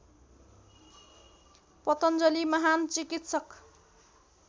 पतञ्जलि महान् चिकित्सक